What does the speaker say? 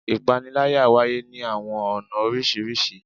Ìpanilára wáyé ni awọn ọna oriṣiriṣi